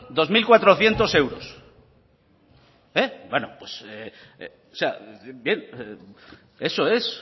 dos mil cuatrocientos euros bueno pues eso es